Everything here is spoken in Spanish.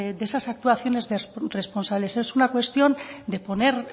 de esas actuaciones responsables es una cuestión de poner